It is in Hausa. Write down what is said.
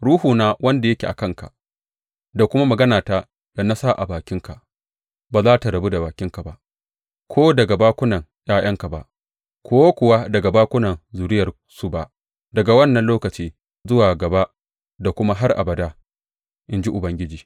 Ruhuna, wanda yake a kanka, da kuma maganata da na sa a bakinka ba za tă rabu da bakinka ba, ko daga bakunan ’ya’yanka ba, ko kuwa daga bakunan zuriyarsu ba daga wannan lokaci zuwa gaba da kuma har abada, in ji Ubangiji.